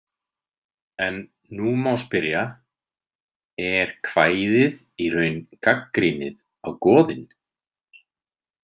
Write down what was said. En nú má spyrja: Er kvæðið í raun gagnrýnið á goðin?